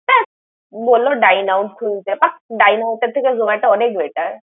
ধ্যাত বলল Dineout তুলতে । Dineout এর থেকে Zomato অনেক better ।